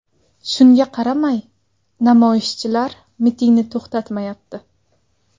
Shunga qaramay, namoyishchilar mitingni to‘xtatmayapti.